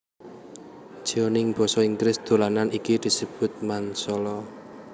Jeoning basa Inggris dolanan iki disebut Mancala